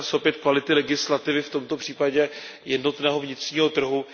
Týká se opět kvality legislativy, v tomto případě jednotného vnitřního trhu.